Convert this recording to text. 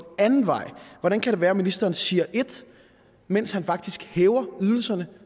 anden vej hvordan kan det være at ministeren siger det mens han faktisk hæver ydelserne